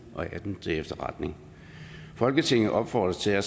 og atten til efterretning folketinget opfordrer til at